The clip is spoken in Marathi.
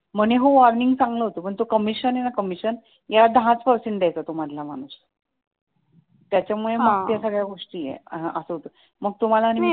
म्हणे हो earning चांगलं होत पण तो कमिशन आहे ना कमिशन याला दहाच पर्सेंट द्यायचा तो मधला माणूस त्याच्या मुले मग त्या सर्व गोष्टी आहेत मग ते असं होत